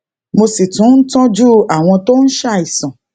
mo sì tún ń tójú àwọn tó ń ṣàìsàn